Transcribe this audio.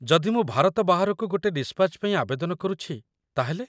ଯଦି ମୁଁ ଭାରତ ବାହାରକୁ ଗୋଟେ ଡିସ୍‌ପାଚ୍‌ ପାଇଁ ଆବେଦନ କରୁଛି, ତା'ହେଲେ ?